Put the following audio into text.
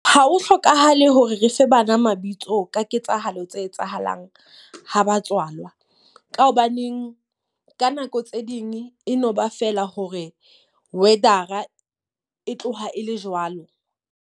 Ha ho hlokahale hore re fe bana mabitso ka ketsahalo tse etsahalang ha ba tswalwa. Ka hobaneng ka nako tse ding e no ba feela hore weather-a e tloha e le jwalo.